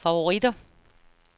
favoritter